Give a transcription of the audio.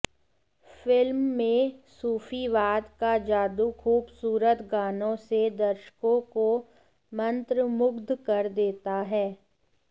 film में सूफीवाद का जादू खूबसूरत गानों से दर्शकों को मंत्रमुग्ध कर देता है